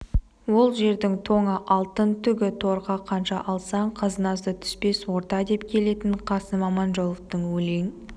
ол жердің тоңы алтын түгі торқа қанша алсаң қазынасы түспес орта деп келетін қасым аманжоловтың өлең